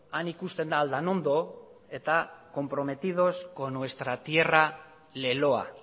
han ikusten da aldanondo eta comprometidos con nuestra tierra leloa